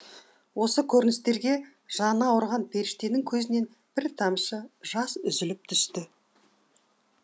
осы көріністерге жаны ауырған періштенің көзінен бір тамшы жас үзіліп түсіпті